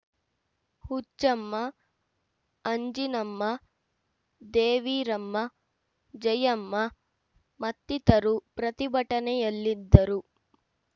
ಹುಚ್ಚಮ್ಮ ಅಂಜಿನಮ್ಮ ದೇವೀರಮ್ಮ ಜಯಮ್ಮ ಮತ್ತಿತರು ಪ್ರತಿಭಟನೆಯಲ್ಲಿದ್ದರು